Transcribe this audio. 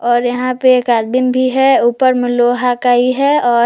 और यहां पे एक आदमीन भी है ऊपर में लोहा कई है और--